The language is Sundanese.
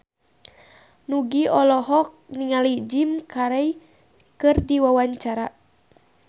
Nugie olohok ningali Jim Carey keur diwawancara